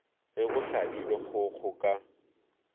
ge go hlabilwe kgogo ka